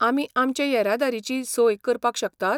आमी आमचे येरादारेची सोय करपाक शकतात?